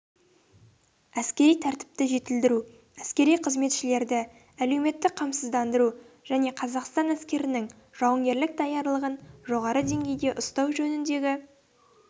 әскери тәртіпті жетілдіру әскери қызметшілерді әлеуметтік қамсыздандыру және қазақстан әскерінің жауынгерлік даярлығын жоғары деңгейде ұстау жөніндегі